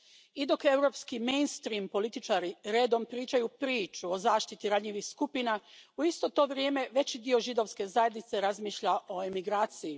I dok europski političari redom pričaju priču o zaštiti ranjivih skupina, u isto to vrijeme veći dio židovske zajednice razmišlja o emigraciji.